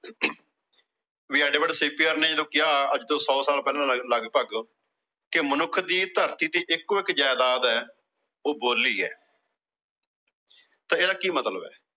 ਨੇ ਜਦੋਂ ਕਿਹਾ, ਅੱਜ ਤੋਂ ਸੌ ਸਾਲ ਪਹਿਲਾਂ ਲਗਭਗ ਕਿ ਮਨੁੱਖ ਦੀ ਧਰਤੀ ਤੇ ਇਕੋ-ਇਕ ਜਾਇਦਾਦ ਆ, ਉਹ ਬੋਲੀ ਆ ਤਾਂ ਇਹਦਾ ਕੀ ਮਤਲਬ ਆ।